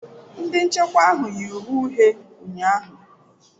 Ndị nchekwa ahụ yi uwe uhie ụnyahụ.